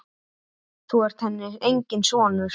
Þú ert henni enginn sonur.